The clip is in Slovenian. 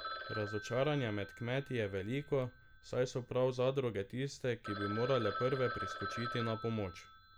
Razočaranje med kmeti je veliko, saj so prav zadruge tiste, ki bi morale prve priskočiti na pomoč.